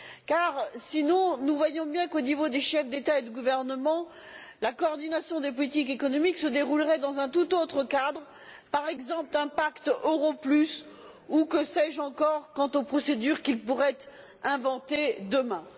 Car, sinon, nous voyons bien qu'au niveau des chefs d'État et de gouvernement, la coordination des politiques économiques se déroulerait dans un tout autre cadre, par exemple celui d'un pacte pour l'euro plus, ou de je ne sais quelle autre procédure qu'ils pourraient inventer demain.